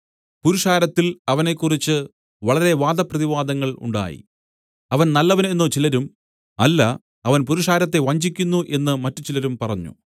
പുരുഷാരത്തിൽ അവനെക്കുറിച്ച് വളരെ വാദപ്രതിവാദങ്ങൾ ഉണ്ടായി അവൻ നല്ലവൻ എന്നു ചിലരും അല്ല അവൻ പുരുഷാരത്തെ വഞ്ചിക്കുന്നു എന്നു മറ്റുചിലരും പറഞ്ഞു